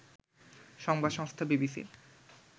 সংবাদ সংস্থা বিবিসির